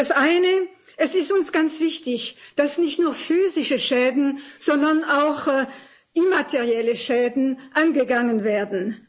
Das eine Es ist uns ganz wichtig, dass nicht nur physische Schäden, sondern auch immaterielle Schäden angegangen werden.